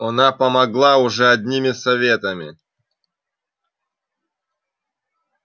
она помогла уже одними советами